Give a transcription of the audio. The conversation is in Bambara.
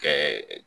Kɛ